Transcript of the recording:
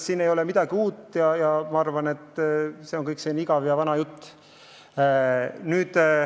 Siin ei ole midagi uut, see on selline igav ja vana jutt.